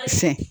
Fɛn